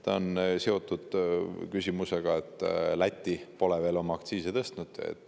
See on seotud sellega, et Läti pole veel aktsiise tõstnud.